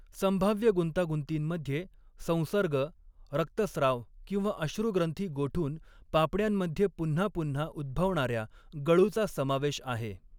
संभाव्य गुंतागुंतींमध्ये, संसर्ग, रक्तस्त्राव किंवा अश्रू ग्रंथी गोठून पापण्यांमध्ये पुन्हा पुन्हा उद्भवणाऱ्या गळूचा समावेश आहे.